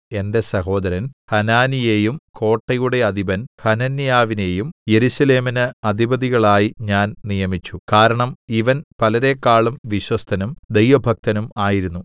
എന്റെ സഹോദരൻ ഹനാനിയെയും കോട്ടയുടെ അധിപൻ ഹനന്യാവിനെയും യെരൂശലേമിന് അധിപതികളായി ഞാൻ നിയമിച്ചു കാരണം ഇവൻ പലരെക്കാളും വിശ്വസ്തനും ദൈവഭക്തനും ആയിരുന്നു